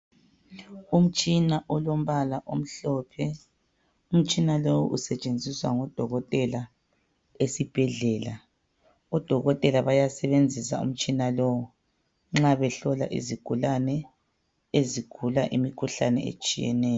Umtshina olombala omhlophe Umtshina lowu esetshenziswa ngodokotela esibhedlela. Odokotela bayasebenzisa umtshina lowu nxa behlola izigulane ezigula imikhuhlane etshiyeneyo.